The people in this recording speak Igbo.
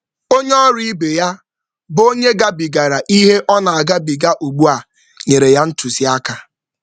Ọ natara ndụmọdụ na-enweghị usoro site n’aka onye ọrụ ibe ya nke chere ihe mgbochi ọrụ yiri nke a ihu.